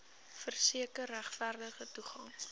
verseker regverdige toegang